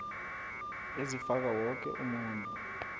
ezifaka woke umuntu